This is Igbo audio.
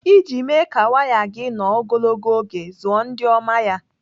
Iji mee ka waya gị nọ ogologo oge, zụọ ndị oma ya.